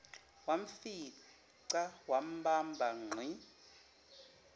wamfica wambamba ngqi